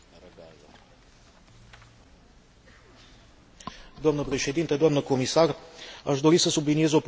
Aș dori să subliniez o problemă încă neclarificată legată de viitorul politicii maritime integrate europene.